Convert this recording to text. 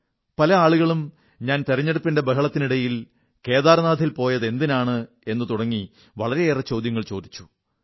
പല ആളുകളും ഞാൻ തിരഞ്ഞെടുപ്പിന്റെ ബഹളത്തിനിടയിൽ കേദാർനാഥിൽ പോയതെന്തിനാണ് എന്നു തുടങ്ങി വളരെയേറെ ചോദ്യങ്ങൾ ചോദിച്ചു